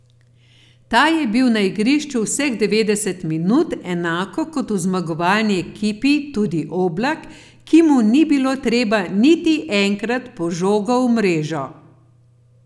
Ta je bil na igrišču vseh devetdeset minut, enako kot v zmagovalni ekipi tudi Oblak, ki mu ni bilo treba niti enkrat po žogo v mrežo.